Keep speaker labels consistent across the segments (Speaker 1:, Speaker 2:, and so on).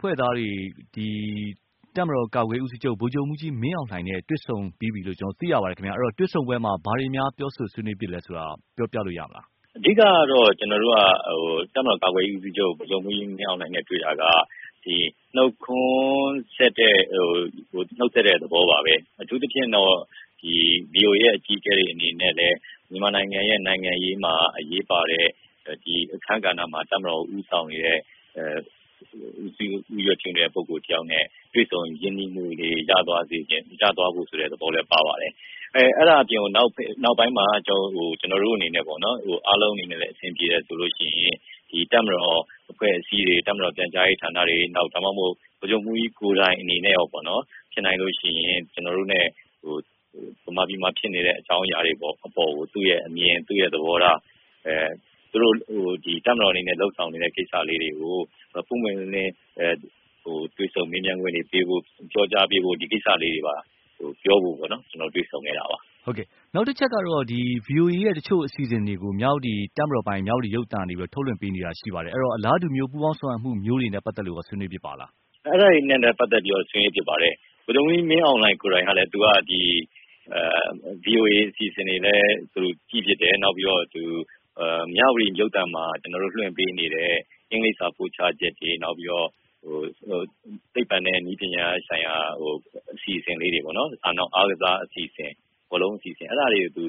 Speaker 1: ဖွဲ့သားတွေနဲ့ တပ်မတော်ကာကွယ်ရေးဦးစီးချုပ် ဗိုလ်ချုပ်မှုးကြီးမင်းအောင်လှိုင်နဲ့တွေ့ဆုံပြီးပြီလို့ ကျနော်တို့သိရပါတယ်ခင်ဗျာ။ အဲဒီတော့ တွေ့ဆုံပွဲမှာ ဘာတွေများ ပြောဆိုဆွေးနွေးဖြစ်သလဲဆိုတာ ပြောလို့ရမလား။
Speaker 2: အဓိကတော့ ကျနော်တို့က တပ်မတော်ကာကွယ်ရေးဦးစီးချုပ် ဗိုလ်ချုပ်မှုးကြီးမင်းအောင်လှိုင်နဲ့တွေ့တာက နှုတ်ဆက်တဲ့သဘောပါပဲ။ အထူးသဖြင့်တော့ ဗွီအိုအေ အကြီးအကဲတွေအနေနဲ့လည်း မြန်မာနိုင်ငံရဲ့ နိုင်ငံရေးမှာအရေးပါတဲ့ အခန်းကဏ္ဍ မှာ တပ်မတော်ကို ဦးဆောင်နေတဲ့ ဦးစီးဦးရွက်ပြုနေတဲ့ ပုဂ္ဂိုလ်တယောက်နဲ့ တွေ့ဆုံရင်းနှီးမှုတွေရသွားစေချင်တဲ့ သဘောလည်းပါပါတယ်။ အဲဒါအပြင်ကို နောက်ပိုင်းမှာ ကျနော်တို့အနေနဲ့ အားလုံးအနေနဲ့လည်း အဆင်ပြေတယ်ဆိုရင် ဒီတပ်မတော်အဖွဲ့အစည်းတွေ၊ တပ်မတော်ပြန်ကြားရေးဌာနတွေ ၊ နောက်ဒါမှမဟုတ်ဗိုလ်ချုပ်မှုးကြီးကိုယ်တိုင်အနေနဲ့ရော ဖြစ်နိုင်ရင် ကျနော်တို့နဲ့ မြန်မာပြည်မှာဖြစ်နေတဲ့ အကြောင်းအရာတွေအပေါ်ကို သူ့အမြင်၊ သူ့သဘောထား၊ သူတို့ တပ်မတော်အနေနဲ့လုပ်ဆောင်နေတဲ့ ကိစ္စလေးတွေကို ပွင့်ပွင့်လင်းလင်းတွေ့ဆုံမေးမြန်းခွင့်တွေပေးဖို့ ၊ ပြောကြားပေးဖို့၊ ဒီကိစ္စလေးတွေပါပြောဖို့ ကျနော်တို့ တွေ့ဆုံခဲ့တာပါ။
Speaker 1: ဟုတ်ကဲ့။ နောက်တချက်ကတော့ ဗွီအိုအေ ရဲ့ တချို့အစီအစဉ်တွေကို တပ်မတော်ပိုင် မြဝတီရုပ်သံကနေပြီးတော့ ထုတ်လွင့်ပေးနေတာရှိပါတယ်။ ဆိုတော့ အလားတူမျိုး ပူးပေါင်းဆောင်ရွက်မှုမျိုးတွေအတွက်ရော ဆွေးနွေးဖြစ်ပါသလား။
Speaker 2: အဲဒါတွေနဲ့ ပတ်သက်ပြီးတော့လည်း ဆွေးနွေးဖြစ်ပါတယ်။ ဗိုလ်ချုပ်မှုးကြီးမင်းအောင်လှိုင် ကိုယ်တိုင်က ဗွီအိုအေအစီအစဉ်တွေကိုလည်း ကြည့်ဖြစ်တယ်။ နောက်ပြီးတော့ သူ မြဝတီ ရုပ်သံမှာ ကျနော်တို့ လွှင့်ပေးနေတဲ့ အင်္ဂလိပ်စာပို့ချချက်တွေ၊ နောက်ပြီးတော့ သိပ္ပံနဲ့ နည်းပညာဆိုင်ရာ အစီအစဉ်လေးတွေပေါ့ ၊ နောက်အားကစား၊ ဘောလုံးအစီအစဉ် အဲဒါတွေကိုသူ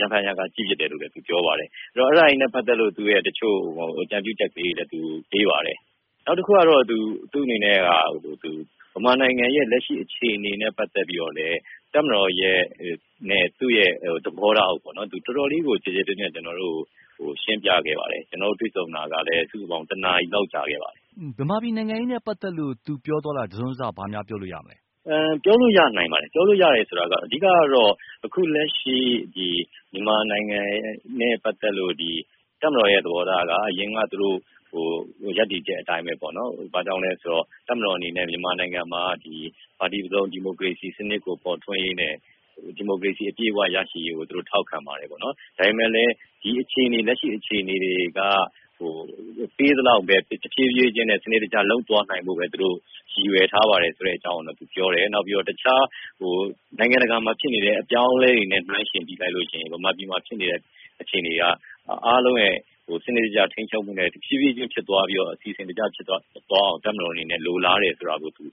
Speaker 2: ရံဖန်ရံခါ ကြည့်ဖြစ်တယ်လို့ သူပြောပါတယ်။ ဆိုတော့ အဲဒါတွေနဲ့ ပတ်သက်ပြီးတော့ တချို့အကြံပြုချက်လေးတွေလည်း သူပေးပါတယ်။ နောက်တခုကတော့ သူ့အနေနဲ့က သူ မြန်မာနိုင်ငံရဲ့ လက်ရှိအခြေအနေနဲ့ ပတ်သက်ပြီးတော့ တပ်မတော်နဲ့ သူ့သဘောထားကို တော်တော်လေးကို ကျယ်ကျယ်ပြန့်ပြန့် ကျနော်တို့ကို ရှင်းပြခဲ့ပါတယ်။ ကျနော်တို့ တွေ့ဆုံတာကလည်း စုစုပေါင်း ၁ နာရီလောက်ကြာခဲ့ပါတယ်။
Speaker 1: မြန်မာပြည်နိုင်ငံရေးနဲ့ပတ်သက်လို့ သူပြောသွားတာ တစွန်းတစ
Speaker 2: ပြောလို့ရပါတယ်။ ပြောလို့ရတယ်ဆိုတာက အဓိကတော့ အခုလက်ရှိ မြန်မာနိုင်ငံနဲ့ ပတ်သက်လို့ တပ်မတော်ရဲ့ သဘောထားက အရင်က သူတို့ ရပ်တည်ချက်အတိုင်းပဲပေါ့နော်။ ဘာကြောင့်လဲဆိုတော့ တပ်မတော်အနေနဲ့ မြန်မာနိုင်ငံမှာက ပါတီစုံ ဒီမိုကရေစီစနစ်ကို ပေါ်ထွန်းရေးနဲ့ ဒီမိုကရေစီအပြည့်အဝရရှိရေး ကို သူတို့ထောက်ခံပါတယ်ပေါ့နော်။ ဒါပေမယ့် လက်ရှိအခြေအနေတွေက ပေးသလောက်ပဲ တဖြေးဖြေးနဲ့ စနစ်တကျလုပ်သွားနိုင်ဖို့ သူတို့ ရည်ရွယ်ထားပါတယ် ဆိုတဲ့အကြောင်းကိုသူပြောတယ်။ နောက်ပြီးတော့ တခြားနိုင်ငံတကာမှာဖြစ်နေတဲ့ အပြောင်းအလဲတွေနဲ့ နှိုင်းယှဉ်ပြီး မြန်မာပြည်မှာဖြစ်နေတဲ့ အခြေအနေက အားလုံးရဲ့ စနစ်တကျထိန်းချုပ်မှုနဲ့ တဖြေးဖြေးဖြစ်သွားပြီးတော့ အစီအစဉ်တကျဖြစ်သွားအောင် တပ်မတော်အနေနဲ့ လိုလားတယ်ဆိုတာကို သူ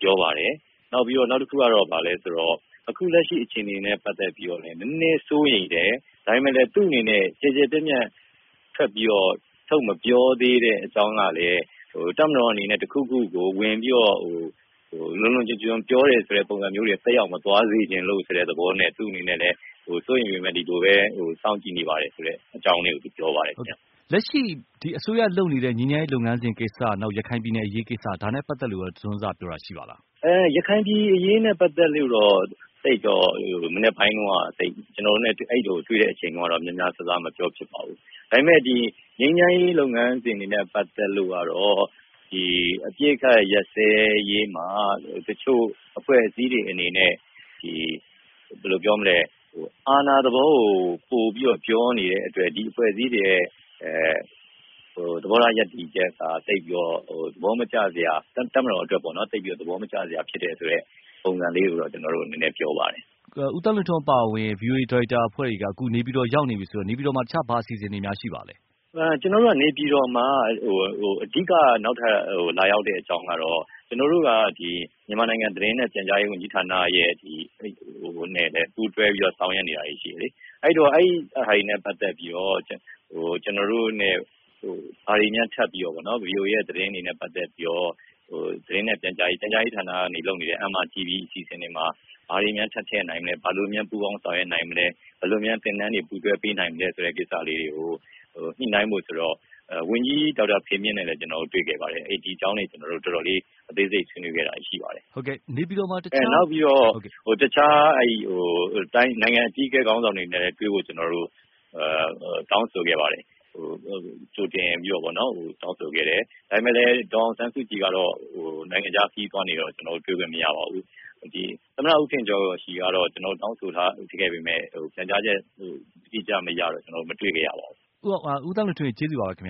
Speaker 2: ပြောပါတယ်။ နောက်ပြီးတော့ နောက်တခုကတော့ ဘာလဲဆိုတော့ အခုလက်ရှိအခြေအနေနဲ့ ပတ်သက်ပြီးတော့လည်း နည်းနည်းစိုးရိမ်တယ်၊ ဒါပေမယ့်လည်း သူ့အနေနဲ့ ကျယ်ကျယ်ပြန့်ပြန့် ထပ်ပြီးတော့ ထုတ်မပြောသေးတဲ့ အကြောင်းကလည်း တပ်မတော်အနေနဲ့ တခုခုကိုဝင်ပြီးတော့ လွန်လွန်ကျွံကျွံ ပြောတယ်ဆိုတဲ့ ပုံစံမျိုးသက်ရောက်မသွားစေချင်လို့ ဆိုတဲ့သဘောနဲ့ သူ့အနေနဲ့ စိုးရိမ်ပေမယ့် ဒီလိုပဲ စောင့်ကြည့်နေပါတယ် ဆိုတဲအကြောင်းလေးကို သူပြောသွားပါတယ်ခင်ဗျ။
Speaker 1: လက်ရှိ ဒီအစိုးရလုပ်နေတဲ့ ငြိမ်းချမ်းရေးလုပ်ငန်းစဉ်ကိစ္စ ၊ နောက် ရခိုင်ပြည်နယ်အရေးကိစ္စ ဒါနဲ့ ပတ်သက်လို့ တစွန်းတစပြောတာရှိပါသလား။
Speaker 2: ရခိုင်ပြည်နယ်အရေးနဲ့ ပတ်သက်လို့တော့ မနက်ပိုင်းတုန်းက ကျနော်တို့နဲ့တွေ့တဲ့အချိန်တုန်းကတော့ များများစားစားမပြောဖြစ်ပါဘူး။ ဒါပေမယ့် ငြိမ်းချမ်းရေးလုပ်ငန်းစဉ်တွေနဲ့ ပတ်သက်လို့ကတော့ အပစ်အခတ်ရပ်စဲရေးမှာ တချို့အဖွဲ့အစည်းတွေအနေနဲ့ အာဏာသဘောကို ပိုပြီးတော့ ပြောနေတဲ့အတွက် ဒီအဖွဲ့အစည်းတွေရဲ့ သဘောထားရပ်တည်ချက်က သိပ်ပြီးတော့ တပ်မတော်အတွက် သဘောမကျစရာဖြစ်တယ်ဆိုတဲ့ ပုံစံလေးကို ကျနော်တို့ကို နည်းနည်းပြောပါတယ်။
Speaker 1: ဦးသန်းလွင်ထွန်းအပါအဝင် ဗွီအိုအေ ဒါရိုက်တာအဖွဲ့တွေက နေပြည်တော် ရောက်နေပြီဆိုတော့ နေပြည်တော်မှာ တခြားဘာအစီအစဉ်များရှိပါသလဲ။
Speaker 2: ကျနော်တို့က နေပြည်တော်မှာ အဓိကနောက်ထပ် လာရောက်တဲ့အကြောင်းကတော့ ကျနော်တို့က မြန်မာနိုင်ငံသတင်းနဲ့ ပြန်ကြားရေးဝန်ကြီးဌာနနဲ့လည်း ပူးတွဲပြီးတော့ ဆောင်ရွက်နေတာတွေရှိတယ်လေ။ အဲဒီတော့ အဲဒါတွေနဲ့ ပတ်သက်ပြီးတော့ ကျနော်တို့နဲ့ ဘာတွေများထပ်ပြီးတော့ ဗွီအိုအေ သတင်းတွေနဲ့ ပတ်သက်ပြီးတော့ ပြန်ကြားရေးဌာနကလုပ်နေတဲ့ MRTV အစီအစဉ်တွေမှာ ဘာတွေများထပ်ထည့်နိုင်မလဲ၊ ဘာတွေပူးပေါင်းဆောင်ရွက်နိုင်မလဲ ၊ ဘယ်လိုသင်တန်းတွေ ပူးတွဲပေးနိုင်မလဲ ဆိုတဲ့ ကိစ္စလေးတွေကို ညှိနှိုင်းဖို့ဆိုတော့ ဝန်ကြီး ဒေါက်တာ ဖေမြင့်နဲ့လည်း ကျနော်တို့ တွေ့ခဲ့ပါတယ်။ ဒီအကြောင်းတွေကျနော်တို့ အသေးစိတ်ဆွေးနွေးခဲ့တာတွေရှိပါတယ်။ နောက်ပြီးတော့ တခြား နိုင်ငံ့အကြီးအကဲ ခေါင်းဆောင်တွေနဲ့လည်းတွေ့ဖို့ ကျနော်တို့ ကြိုတင်ပြီးတော့ တောင်းဆိုခဲ့ပါတယ်။ ဒါပေမယ့်လည်း ဒေါ်အောင်ဆန်းစုကြည်က နိုင်ငံခြားခရီးသွားနေတော့ ကျနော်တို့တွေ့ခွင့်မရပါဘူး။ သမ္မတ ဦးထင်ကျော် ကတော့ ကျနော်တို့ တောင်းဆိုခဲ့ပေမယ့် ပြန်ကြားချက် အတိအကျမရတော့ ကျနော်တို့ မတွေ့ခဲ့ရပါဘူး။
Speaker 1: ဦးသန်းလွင်ထွန်း ရေ ကျေးဇူးပါပဲခင်ဗ